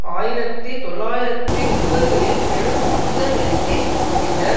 ஆயிரத்தி தொள்ளாயிரத்தி முப்பதுகளில் பெரு மத்தநிலைக்கு பின்னர்